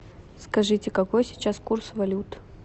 скажите какой сейчас курс валют